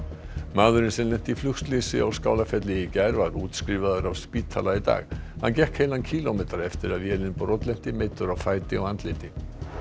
maðurinn sem lenti í flugslysi á Skálafelli í gær var útskrifaður af spítala í dag hann gekk heilan kílómetra eftir að vélin brotlenti meiddur á fæti og andliti